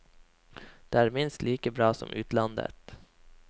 Det er minst like bra som utlandet.